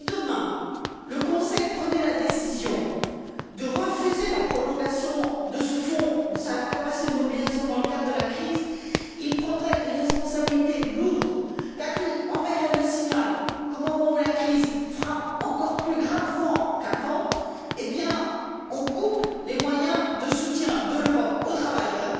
Et si demain le Conseil prenait la décision de refuser la prolongation de ce Fonds, et la capacité de le mobiliser dans le cadre de la crise, il prendrait une lourde responsabilité, car il enverrait le signal qu'au moment où la crise frappe encore plus gravement qu'avant, on coupe les moyens de soutien que l'Europe offre aux travailleurs.